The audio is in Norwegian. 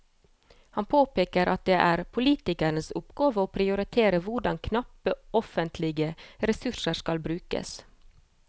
Han påpeker at det er politikernes oppgave å prioritere hvordan knappe offentlige ressurser skal brukes.